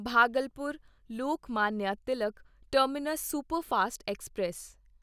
Bhagalpur Lokmanya Tilak terminus superfast express